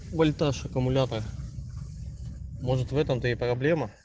вольтаж аккумулятора может в этом-то и проблема